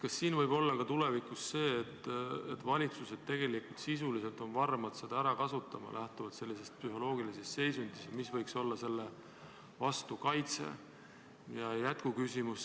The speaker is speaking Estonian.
Kas siin võib olla tulevikus nii, et valitsused on tegelikult varmad seda ära kasutama lähtuvalt sellisest psühholoogilisest seisundist, ja mis võiks selle vastu kaitset pakkuda?